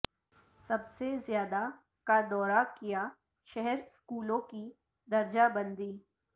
سب سے زیادہ کا دورہ کیا شہر اسکولوں کی درجہ بندی